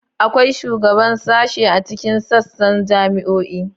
Akwai shugaban sashe a cikin sassan jami'o'i.